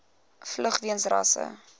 vlug weens rasse